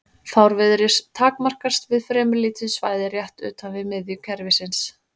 Fárviðrið takmarkast við fremur lítið svæði rétt utan við miðju kerfisins.